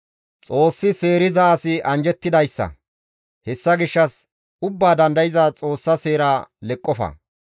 «Xoossi seeriza asi anjjettidayssa; hessa gishshas Ubbaa Dandayza Xoossa seera leqqofa.